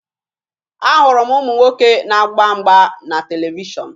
Ahụrụ m ụmụ nwoke na-agba mgba na televishọn